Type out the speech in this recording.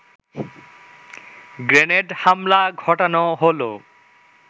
grenade হামলা ঘটানো হলো